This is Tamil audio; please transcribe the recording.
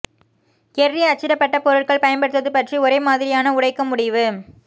கெர்ரி அச்சிடப்பட்ட பொருட்கள் பயன்படுத்துவது பற்றி ஒரே மாதிரியான உடைக்க முடிவு